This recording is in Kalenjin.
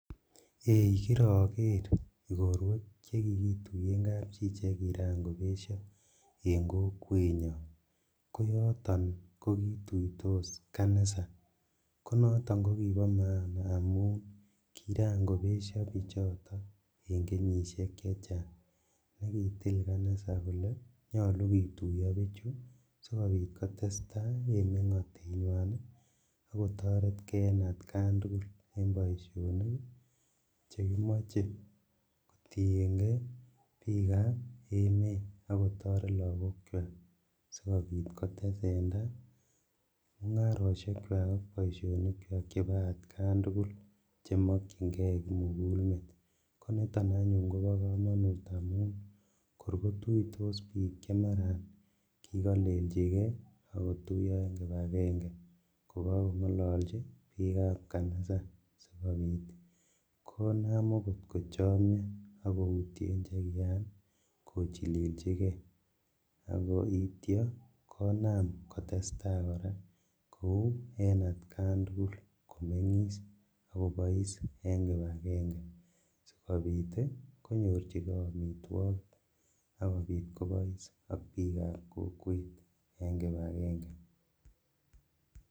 Ei kiroker igorwek chekikituyen kapchi chekiran kobesho en kokwenyon, konoton kokituitos kanisa konoton kokibo maana amun kiran konesho bichoto en kenyishek chechang ak kitil kanisa koke nyolu kituiyo bichu sikobit kotestaa en mengotenywan ak kotoret kee en atkan tugul en boisionik chekimoche kotiengee bikab emet ak kotoret lagokwak sikobit kotesendaa mungaroshekwak ak boisionikwak chebo atkan tugul chemokyingee kimugulmet, koniton anyun kobo komonut amun kor kotuitos bik chemaran kikoleljigee ak kotuiyo en kipagenge kogokongololji bikab kanisa sikobit konam okot kochomio ak koutyen chekiran kochililjigee akoityo konam kotestaa koraa kou en atkan tugul komengis qk kobois en kipagenge sikobit konyorjigee omitwogik ak kobit kobois ak bikab kokwet en kipagenge.